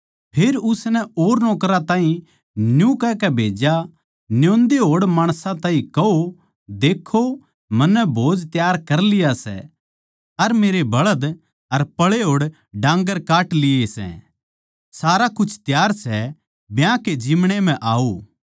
फेर उसनै और नौकरां ताहीं न्यू कहकै भेज्या न्योंदे होड़ माणसां ताहीं कहो लखाओ मन्नै भोज त्यार कर लिया सै अर मेरे बळध अर पळे होड़ डान्गर काट लिये सै सारा कुछ त्यार सै ब्याह के जिमणे म्ह आओ